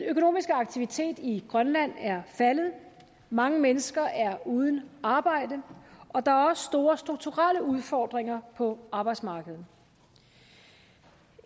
økonomiske aktivitet i grønland er faldet mange mennesker er uden arbejde og der er også store strukturelle udfordringer på arbejdsmarkedet